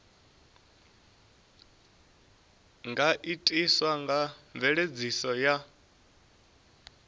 nga itiswa nga mveledziso ya